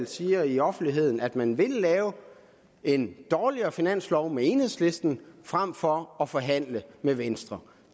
siger i offentligheden at man vil lave en dårligere finanslov med enhedslisten frem for at forhandle med venstre